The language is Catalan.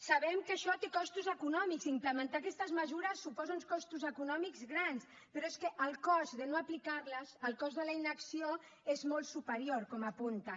sabem que això té costos econòmics implementar aquestes mesures suposa uns costos econòmics grans però és que el cost de no aplicarles el cost de la inacció és molt superior com apunten